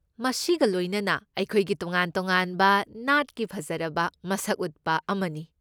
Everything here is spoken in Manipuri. ꯃꯁꯤꯒ ꯂꯣꯏꯅꯅ, ꯑꯩꯈꯣꯏꯒꯤ ꯇꯣꯉꯥꯟ ꯇꯣꯉꯥꯟꯕ ꯅꯥꯠꯀꯤ ꯐꯖꯔꯕ ꯃꯁꯛ ꯎꯠꯄ ꯑꯃꯅꯤ꯫